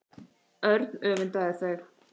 Örn öfundaði þau.